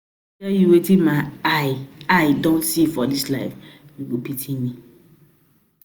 tell you watin my eye eye don see for dis life, u go pity me